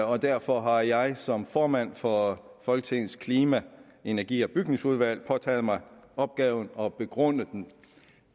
og derfor har jeg som formand for folketingets klima energi og bygningsudvalg påtaget mig opgaven at begrunde den